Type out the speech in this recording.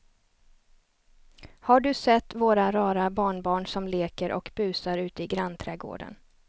Har du sett våra rara barnbarn som leker och busar ute i grannträdgården!